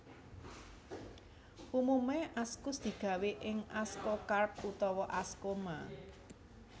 Umume askus digawé ing askokarp utawa askoma